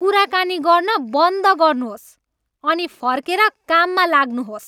कुराकानी गर्न बन्द गर्नुहोस् अनि फर्केर काममा लाग्नुहोस्!